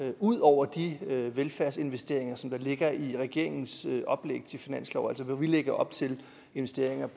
er ud over de velfærdsinvesteringer som der ligger i regeringens oplæg til finanslov hvor vi lægger op til investeringer